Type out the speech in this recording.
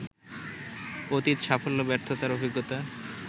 অতীত সাফল্য ব্যর্থতার অভিজ্ঞতা